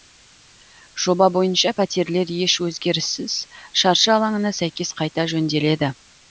жоба бойынша пәтерлер еш өзгеріссіз шаршы алаңына сәйкес қайта жөнделеді